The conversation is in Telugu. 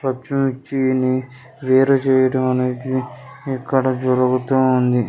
పచ్చిమిర్చిని వేరు చేయడం అనేది ఇక్కడ జరుగుతూ ఉంది.